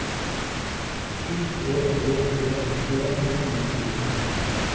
sju tre tre tre nittien ett hundre og tjuefire